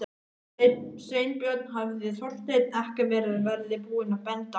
Sveinbjörn hefði Þorsteinn ekki verið búinn að benda á hann.